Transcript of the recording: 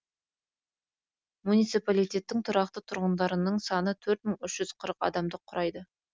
муниципалитеттің тұрақты тұрғындарының саны төрт мың үш жүз қырық адамды құрайды